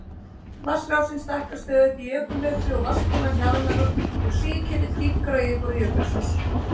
Vatnsrásin stækkar stöðugt í jökulhlaupi og vatnsbólan hjaðnar og sigketill dýpkar á yfirborði jökulsins.